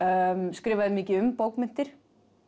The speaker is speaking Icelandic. skrifaði mikið um bókmenntir